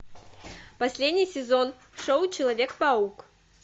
последний сезон шоу человек паук